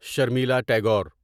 Sharmila Tagore